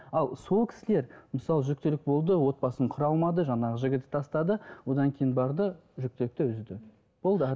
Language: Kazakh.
ал сол кісілер мысалы жүктілік болды отбасын құра алмады жаңағы жігіті тастады одан кейін барды жүкітілікті үзді болды